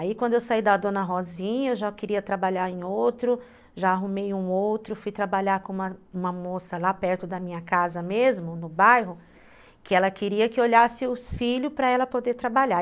Aí quando eu saí da dona Rosinha, eu já queria trabalhar em outro, já arrumei um outro, fui trabalhar com uma uma moça lá perto da minha casa mesmo, no bairro, que ela queria que olhasse os filhos para ela poder trabalhar.